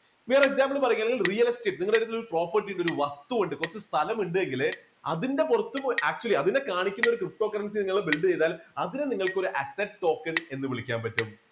വേറെ example പറയുകയാണെങ്കിൽ real estate നിങ്ങളുടെ അടുത്തൊരു property ഉണ്ട് ഒരു വസ്തു ഉണ്ട് കുറച്ച് സ്ഥലമുണ്ടെങ്കില് അതിന്റെ പുറത്തു പോയി actually അതിനെ കാണിക്കുന്ന ഒരു ptocurrency നിങ്ങള് build ചെയ്താൽ അതിനെ നിങ്ങൾക്ക് ഒരു asset token എന്ന് വിളിക്കാൻ പറ്റും.